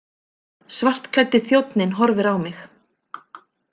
Svartklæddi þjónninn horfir á mig.